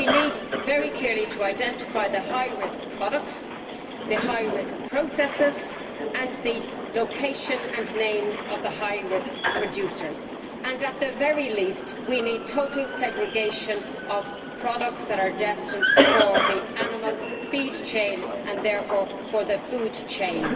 We need very clearly to identify the high risk products, the high risk processors and the location and names of the high risk producers, and, at the very least, we need total segregation of products that are destined for the animal feed chain and, thus, for the food chain.